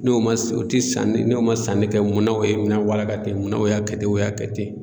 N'o ma se o te sanni n'o ma sanni kɛ munna oye minɛn walaka te munna o y'a kɛ ten o y'a kɛ ten